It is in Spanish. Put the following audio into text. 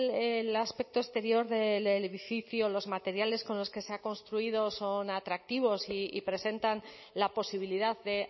el aspecto exterior del edificio los materiales con los que se ha construido son atractivos y presentan la posibilidad de